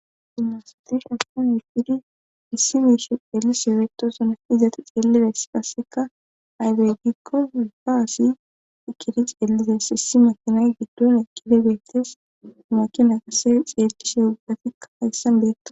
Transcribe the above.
gumnasati shappon yupkidi issi miishi eelisbeetosona izati xeellidayss qasseka aydeygikko wubba aasi ekidi ceellizays hissi makinay giddon ekkide bettes humakina qase xeerkishe ubatikka hayssan beetto